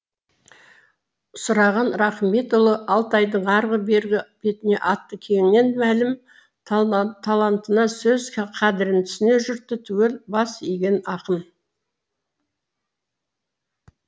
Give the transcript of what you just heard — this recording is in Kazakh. сұраған рахметұлы алтайдың арғы бергі бетіне аты кеңінен мәлім талантына сөз қадірін түсінер жұрты түгел бас иген ақын